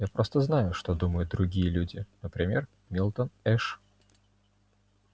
я просто знаю что думают другие люди например милтон эш